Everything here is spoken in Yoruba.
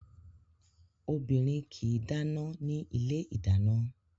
Obìnrin kì í dáná ní ilé ìdáná